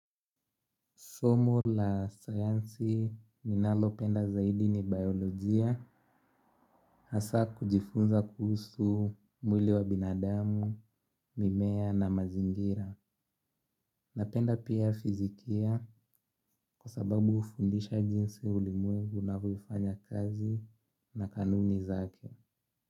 Somo la sayansi ninalopenda zaidi ni biolojia hasa kujifunza kuhusu mwili wa binadamu, mimea na mazingira. Napenda pia fizikia kwa sababu hufundisha jinsi ulimwengu unavyofanya kazi na kanuni zake.